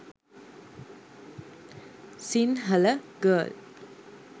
sinhala girl